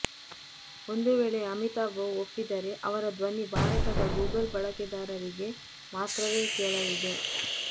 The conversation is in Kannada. ಒಂದು ವೇಳೆ ಅಮಿತಾಬ್ ಒಪ್ಪಿದರೆ ಅವರ ದ್ವನಿ ಭಾರತದ ಗೂಗಲ್ ಬಳಕೆದಾರರಿಗೆ ಮಾತ್ರವೇ ಕೇಳಲಿದೆ